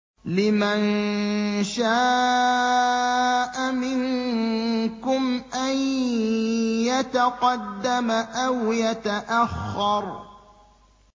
لِمَن شَاءَ مِنكُمْ أَن يَتَقَدَّمَ أَوْ يَتَأَخَّرَ